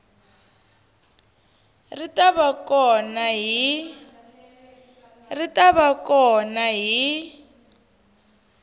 ri ta va kona hi